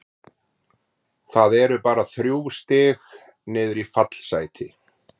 Það eru bara þrjú stig niður í fallsæti.